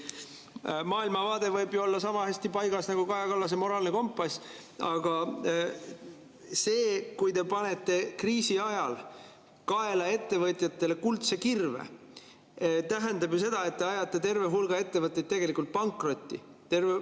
Maailmavaade võib ju olla sama hästi paigas nagu Kaja Kallase moraalne kompass, aga see, kui te panete kriisi ajal kaela ettevõtjatele kuldse kirve, tähendab ju seda, et te ajate terve hulga ettevõtteid pankrotti.